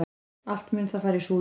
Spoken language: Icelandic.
Allt mun það fara í súginn!